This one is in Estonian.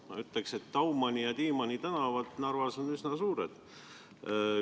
Ma ütleks, et Daumani ja Tiimanni tänavad Narvas on üsna pikad.